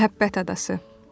Məhəbbət adası.